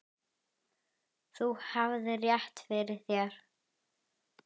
Þú hafðir rétt fyrir þér.